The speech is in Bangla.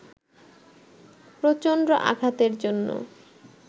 প্রচণ্ড আঘাতের জন্য